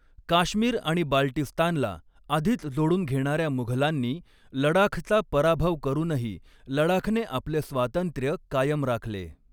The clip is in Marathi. काश्मीर आणि बाल्टिस्तानला आधीच जोडून घेणाऱ्या मुघलांनी लडाखचा पराभव करूनही लडाखने आपले स्वातंत्र्य कायम राखले.